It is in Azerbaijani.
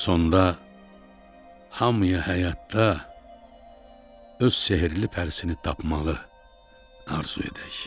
Sonda hamıya həyatda öz sehrli pərisini tapmağı arzu edək.